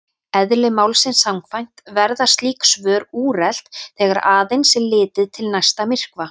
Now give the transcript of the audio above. Eðli málsins samkvæmt verða slík svör úrelt þegar aðeins er litið til næsta myrkva.